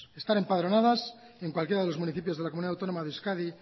estar empadronadas en cualquiera de los municipios de la comunidad autónoma de euskadi